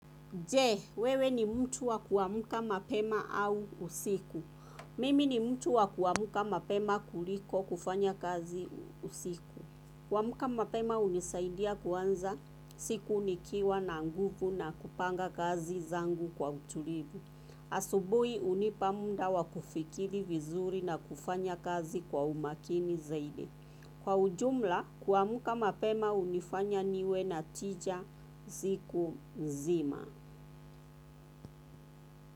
Je, wewe ni mtu wa kuamka mapema au usiku? Mimi ni mtu wa kuamuka mapema kuliko kufanya kazi usiku. Kuamka mapema hunisaidia kuanza siku nikiwa na nguvu na kupanga kazi zangu kwa utulivu. Asubuhi hunipa muda wa kufikiri vizuri na kufanya kazi kwa umakini zaidi. Kwa ujumla, kuamka mapema hunifanya niwe na tija siku nzima.